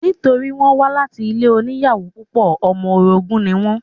Nítorí wọ́n wá láti ilé oníyàwó púpọ̀, ọmọ orogún ní wọ́n